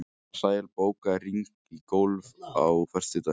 Asael, bókaðu hring í golf á föstudaginn.